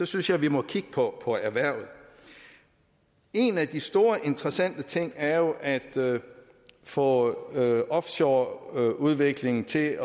synes jeg vi må kigge på erhvervet en af de store interessante ting er jo at få offshoreudviklingen til at